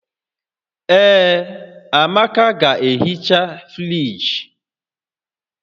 Ee, Amaka ga-ehicha friji